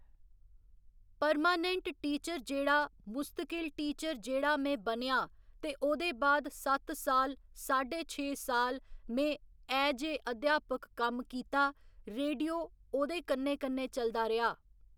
Permanent teacher जेह्ड़़ा मुस्तकिल teacher जेह्ड़ा में बनेआ ते ओह्दे बाद सत्त साल साड्ढे छे साल में एज ऐ अध्यापक कम्म कीता रेडियो ओहकन्नै कन्नै चलदा रेहा।